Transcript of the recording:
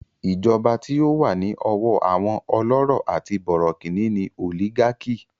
Ìjọba tí ó wà ní ọwọ́ àwọn ọlọ́rọ̀ àti bọ̀rọ̀kìní ni òlígákì.